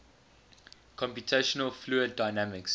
computational fluid dynamics